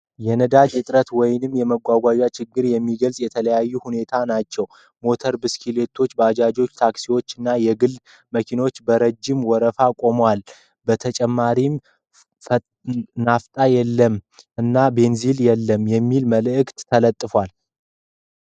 የነዳጅ እጥረት ወይም የመጓጓዣ ችግር የሚገልጹ የተለያዩ ሁኔታዎች ናቸው። ሞተር ብስክሌቶች ፣ ባጃጆች ፣ ታክሲዎች እና የግል መኪናዎች በረጅም ወረፋ ቆመዋል ። በተጨማሪም “ናፍጣ የለም” እና “ቤንዚን የለም” የሚሉ ምልክቶች ተለጥፈዋል።